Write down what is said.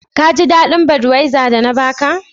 Ka jidadin " budwiser" da na ba ka?